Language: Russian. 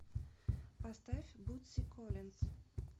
поставь бутси коллинс